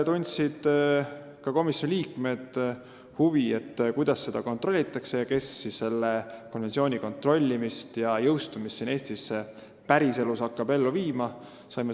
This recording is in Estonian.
Komisjoni liikmed tundsid huvi, kuidas seda kontrollitakse ning kes hakkab selle konventsiooni kontrollimist ja jõustumist siin Eestis päriselus ellu viima.